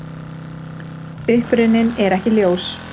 Uppruninn er ekki ljós.